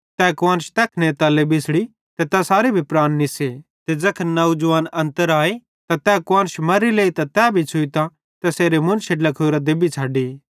तै कुआन्श तैखने तल्ले बिछ़ड़ी ते तैसारे भी प्राण निस्से ते ज़ैखन नौजवान अन्तर आए त तै कुआन्श मर्री लेइतां तै भी छ़ुइतां तैसारे मुन्शे ड्लाखोरां देबतां छ़डी